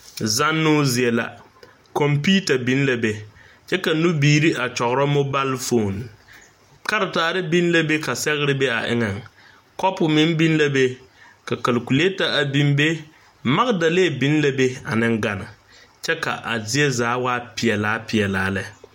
Te zanno zie la, konpiita biŋ la be, kyɛ ka nu biiri kyuro mobile phone, karatɛre biŋ la be ka sɛgre be a eŋa, kopu meŋ biŋ la be, ka calculater biŋ be, magidalee biŋ la be ane gane kyɛ ka a zie zaa waa peɛlaa peɛlaa lɛ.